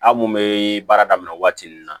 Aw mun bɛ baara daminɛ waati min na